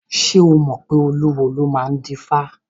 Ṣé o mọ̀ pé olúwo ló máa ń dífá?